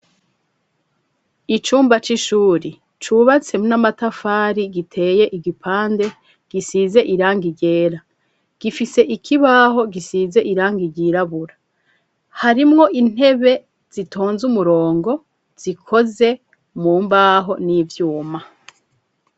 Icumba c'ishuri cubatse n'amatafari giteye igipande gisize irangi ryera gifise ikibaho gisize irangi ryirabura harimwo intebe zitonze umurongo zikoze mu mbaho n'ivyuma.